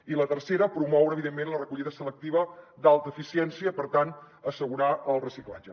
i la tercera promoure evidentment la recollida selectiva d’alta eficiència i per tant assegurar el reciclatge